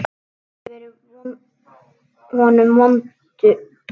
Ég hef verið honum vond.